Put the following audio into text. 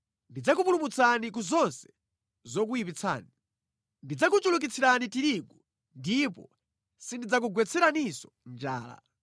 Ndidzakupulumutsani ku zonse zokuyipitsani. Ndidzakuchulukitsirani tirigu ndipo sindidzakugwetseraninso njala.